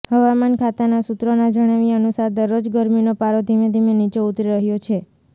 હવામાન ખાતાના સુત્રોના જણાવ્યા અનુસાર દરરોજ ગરમીનો પારો ધીમેધીમે નીચે ઉતરી રહ્યો છે